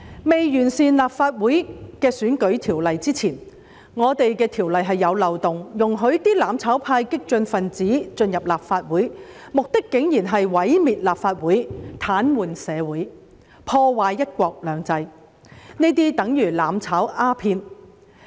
在完善立法會選舉制度的條例通過前，我們的條例是有漏洞的，可容許"攬炒"派、激進分子進入立法會，而他們的目的竟然是毀滅立法會、癱瘓社會、破壞"一國兩制"，這些便等於"攬炒"鴉片。